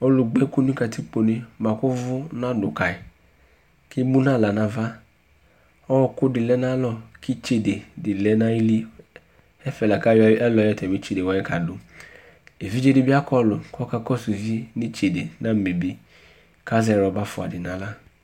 Ɔlu gbaku nu katikpo né buaku uvu nadu kayi ké mu na xlă na va ɔku di lɛ na ayalɔ ki itsidé di lɛ nayili ɛfɛ laku ayɔ atami itsédé wani kadu évidzé di bi akɔlu kɔ uvié ni itsédé namébi kazɛ rɔba fua di na xlă